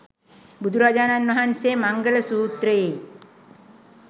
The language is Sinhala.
බුදුරජාණන් වහන්සේ මංගල සූත්‍රයේ